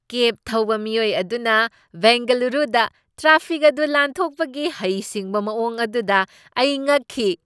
ꯀꯦꯕ ꯊꯧꯕ ꯃꯤꯑꯣꯏ ꯑꯗꯨꯅ ꯕꯦꯡꯒꯂꯨꯔꯨꯗ ꯇ꯭ꯔꯥꯐꯤꯛ ꯑꯗꯨ ꯂꯥꯟꯊꯣꯛꯄꯒꯤ ꯍꯩꯁꯤꯡꯕ ꯃꯑꯣꯡ ꯑꯗꯨꯗ ꯑꯩ ꯉꯛꯈꯤ꯫